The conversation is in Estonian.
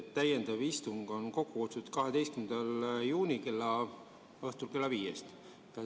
Täiendav istung on kokku kutsutud 12. juunil õhtul kella viiest.